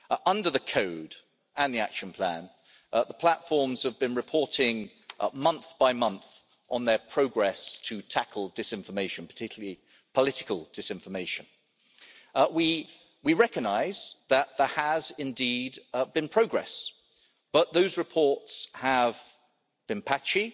Under the Code and the Action Plan, the platforms have been reporting month by month on their progress to tackle disinformation, particularly political disinformation. We recognise that there has indeed been progress, but those reports have been patchy,